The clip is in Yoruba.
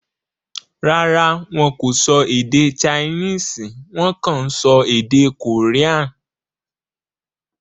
Rárá, wọn kò sọ èdè Chinese; Wọ́n kàn ń sọ èdè Korean.